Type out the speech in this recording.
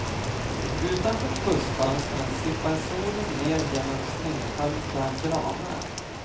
Utanför bussfönstren sipprar solen ner genom snöhöljda granar.